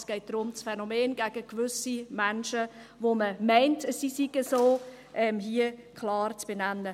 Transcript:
Es geht darum, das Phänomen gegen gewisse Menschen, von denen man meint, sie seien so, hier klar zu benennen.